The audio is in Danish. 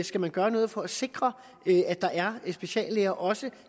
skal man gøre noget for at sikre at der er speciallæger også